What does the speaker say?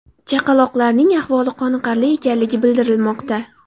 Chaqaloqlarning ahvoli qoniqarli ekanligi bildirilmoqda.